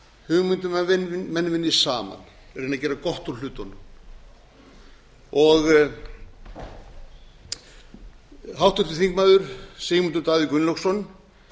hugmynd um að menn vinni saman reyni að gera gott úr hlutunum háttvirtur þingmaður sigmundur davíð gunnlaugsson